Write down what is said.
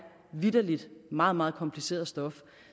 vitterligt meget meget kompliceret stof